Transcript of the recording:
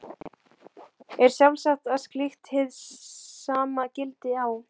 Er sjálfsagt að slíkt hið sama gildi á